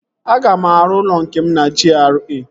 Aga m arụ ụlọ nke m na GRA